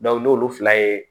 n'olu fila ye